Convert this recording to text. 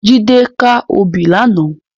Jide kâ óbì làná